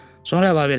Sonra əlavə elədi.